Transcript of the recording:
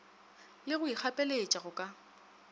le go ikgapeletša go ka